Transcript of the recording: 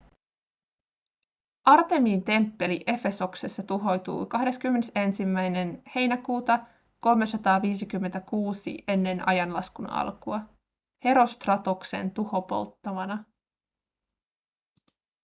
artemiin temppeli efesoksessa tuhoutui 21 heinäkuuta 356 eaa herostratoksen tuhopolttamana